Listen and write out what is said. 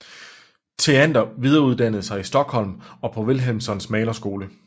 Theander videreuddannede sig i Stockholm og på Wilhelmssons malerskole